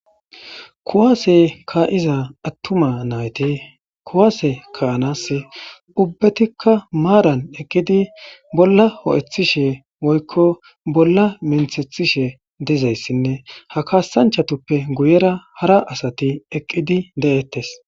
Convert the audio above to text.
kuwaase kaa7iza attuma nayyti kuwaase kaanas ubbetikka maaran eqqidi bolla ho7ethishe woykko bolla minthethishe dizayssinne ha kaasanchatoppe guyera hara asati eqqidi de7ettes